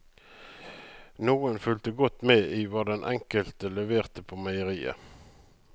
Noen fulgte godt med i hva den enkelte leverte på meieriet.